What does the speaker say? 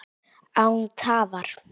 Án tafar!